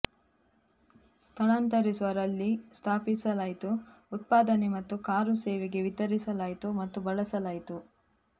ಸ್ಥಳಾಂತರಿಸುವ ರಲ್ಲಿ ಸ್ಥಾಪಿಸಲಾಯಿತು ಉತ್ಪಾದನೆ ಮತ್ತು ಕಾರು ಸೇವೆಗೆ ವಿತರಿಸಲಾಯಿತು ಮತ್ತು ಬಳಸಲಾಯಿತು